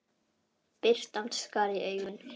Birtan skar í augun.